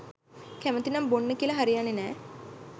කැමතිනම් බොන්න කියල හරියන්නෙ නෑ.